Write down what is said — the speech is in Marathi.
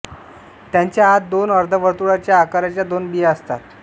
त्याच्या आत दोन अर्धावर्तुळच्या आकाराच्या दोन बिया असतात